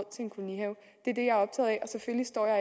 selvfølgelig står jeg